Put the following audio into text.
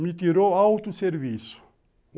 Me tirou autosserviço.